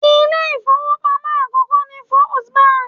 Ilé ìfowópamọ́ àkókò ni First Bank.